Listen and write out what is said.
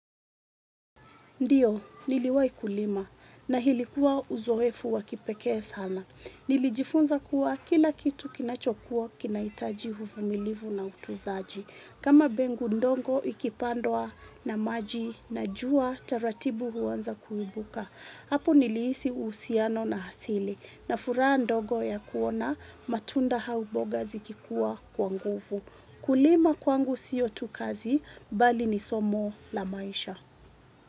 Ndio, niliwai kulima na ilikuwa uzoefu wa kipekee sana. Nilijifunza kuwa kila kitu kinachokua kinahitaji uvumilivu na utunzaji. Kama mbegu ndogo ikipandwa na maji na jua taratibu huanza kuibuka. Hapo nilihisi uhusiano na asili na furaha ndogo ya kuona matunda au boga zikikuwa kwa nguvu. Kulima kwangu sio tu kazi bali ni somo la maisha.